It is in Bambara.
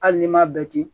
Hali n'i m'a bɛɛ ci